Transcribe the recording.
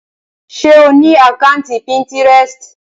Ṣe o ni àkàntí Pinterest?